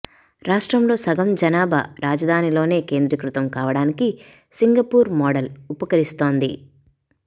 రాష్ట్రంలో సగం జనాభా రాజధానిలోనే కేంద్రీకృతం కావడానికి సింగపూర్ మోడల్ ఉపకరిస్తోంది